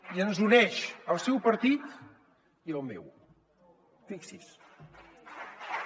i ens uneix al seu partit i al meu fixi s’hi